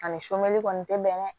Ani sunkali kɔni tɛ bɛn